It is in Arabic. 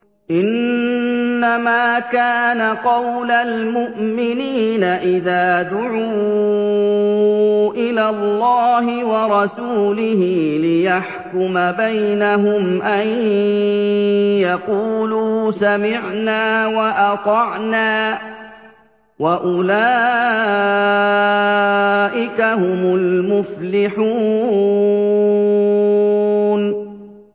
إِنَّمَا كَانَ قَوْلَ الْمُؤْمِنِينَ إِذَا دُعُوا إِلَى اللَّهِ وَرَسُولِهِ لِيَحْكُمَ بَيْنَهُمْ أَن يَقُولُوا سَمِعْنَا وَأَطَعْنَا ۚ وَأُولَٰئِكَ هُمُ الْمُفْلِحُونَ